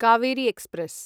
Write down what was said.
Kaveri express